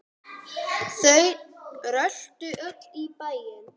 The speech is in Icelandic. Þau röltu öll í bæinn.